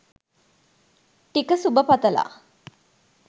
ටික සුභ පතලා.